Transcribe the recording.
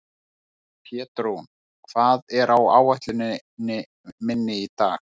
Pétrún, hvað er á áætluninni minni í dag?